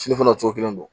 Fini fana cogo kelen don